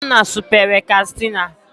Nnanna supere Kastịna